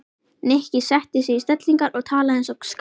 Nikki setti sig í stellingar og talaði eins og skáld.